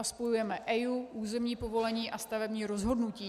A spojujeme EIA, územní povolení a stavební rozhodnutí.